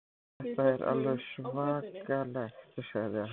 Þetta er alveg svakalegt sagði hann.